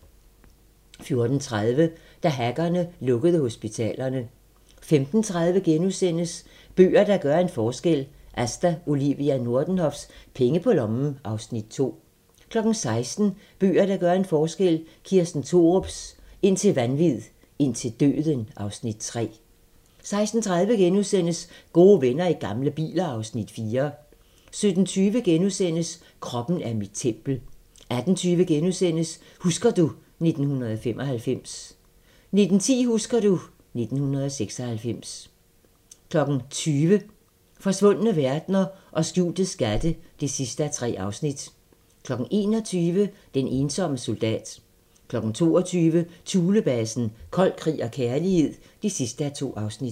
14:30: Da hackerne lukkede hospitalerne 15:30: Bøger, der gør en forskel - Asta Olivia Nordenhofs "Penge på lommen" (Afs. 2)* 16:00: Bøger, der gør en forskel - Kirsten Thorups "Indtil vanvid, indtil døden" (Afs. 3) 16:30: Gode venner i gamle biler (Afs. 4)* 17:20: Kroppen er mit tempel * 18:20: Husker du ... 1995 * 19:10: Husker du ... 1996 20:00: Forsvundne verdener og skjulte skatte (3:3) 21:00: Den ensomme soldat 22:00: Thulebasen - Kold krig og kærlighed (2:2)